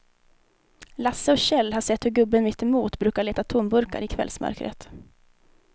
Lasse och Kjell har sett hur gubben mittemot brukar leta tomburkar i kvällsmörkret.